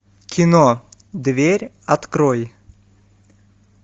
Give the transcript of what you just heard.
кино дверь открой